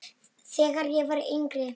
Þegar ég var yngri.